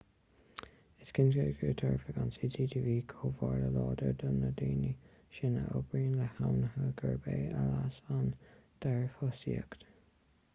is cinnte go dtabharfadh an cctv comhartha láidir do na daoine sin a oibríonn le hainmhithe gurb é a leas an dearbhthosaíocht